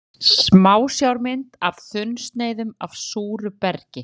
Smásjármynd af þunnsneiðum af súru bergi.